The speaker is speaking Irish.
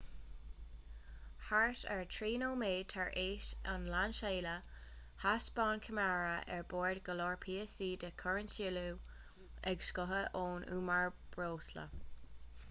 thart ar 3 nóiméad tar éis an lainseála thaispeáin ceamara ar bord go leor píosaí de chúrinsliú ag scoitheadh ón umar breosla